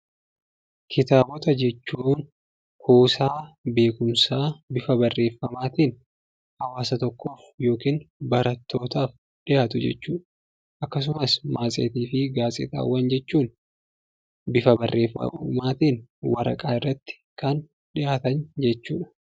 Kitaabota jechuun kuusaa beekumsaa bifa barreeffamaatiin hawaasa tokkoof yookiin barootaf dhiyaatu jechuudha. Akkasumas matseetiifi gaazexaawwan jechuun bifa barreeffamatiin waraqaa irratti kan dhiyaatan jechuudha.